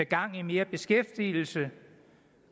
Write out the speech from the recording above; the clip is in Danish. gang i mere beskæftigelse